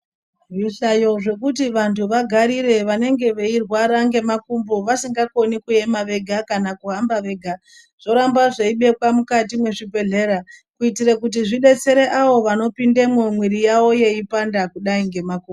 Zvihlayo zvekuti vanthu vagarire vanenge verwara nemakumbo vasingakoni kuema vega kana kuhamba vega zvoramba zveibekwa mukati mwezvibhedhlera kuitira kuti zvidetsere avo vanopindamwo mwiri yavo yeipanda kudai nemakumbo.